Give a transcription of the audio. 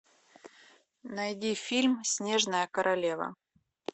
найди фильм снежная королева